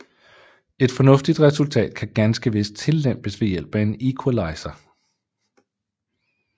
Et fornuftigt resultat kan ganske vist tillempes ved hjælp af en equalizer